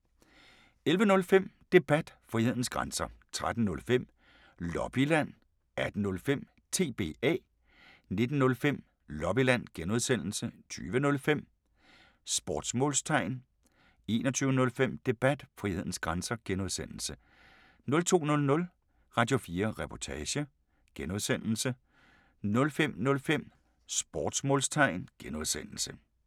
11:05: Debat: Frihedens grænser 13:05: Lobbyland 18:05: TBA 19:05: Lobbyland (G) 20:05: Sportsmålstegn 21:05: Debat: Frihedens grænser (G) 02:00: Radio4 Reportage (G) 05:05: Sportsmålstegn (G)